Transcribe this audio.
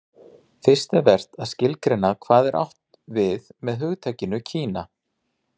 fyrst er vert að skilgreina hvað átt er við með hugtakinu kína